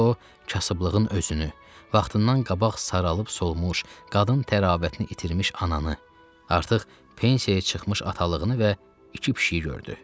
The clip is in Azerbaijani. Orada o kasıblığın özünü, vaxtından qabaq saralıb solmuş, qadın təravətini itirmiş ananı, artıq pensiyaya çıxmış atalığını və iki pişiyi gördü.